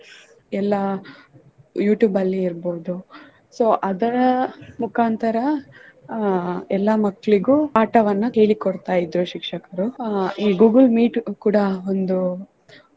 ಎಲ್ಲಾ YouTube ಅಲ್ಲಿ ಇರ್ಬೋದು so ಅದರ ಮುಖಾಂತರ ಅಹ್ ಎಲ್ಲಾ ಮಕ್ಕಳಿಗೂ ಪಾಠವನ್ನು ಹೇಳಿ ಕೊಡ್ತಾ ಇದ್ರು ಶಿಕ್ಷಕರು ಈ Google Meet ಕೂಡಾ ಒಂದು.